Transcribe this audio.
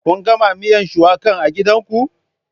Kun gama miyan shuwakan a gidanku?